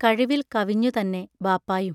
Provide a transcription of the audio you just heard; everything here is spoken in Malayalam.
കഴിവിൽ കവിഞ്ഞുതന്നെ ബാപ്പായും.